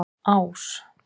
Ás